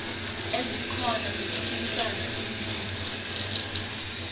ezikhona zokuphikisa iinqunto